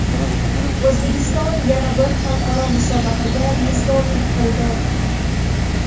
O‘zbekiston yana bir xalqaro musobaqaga mezbonlik qildi.